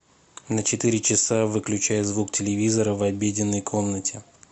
на четыре часа выключай звук телевизора в обеденной комнате